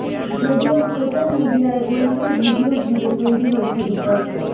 যদিও সোশ্য়াল মিডিয়ায় ঐশীর ভিডিয়ো ঘিরে তৈরি হয়েছে বিতর্ক